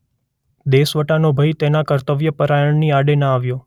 દેશવટાનો ભય તેના કર્તવ્ય પરાયણની આડે ના આવ્યો.